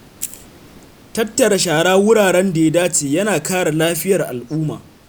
Tattara shara a wuraren da ya dace yana kare lafiyar al’umma.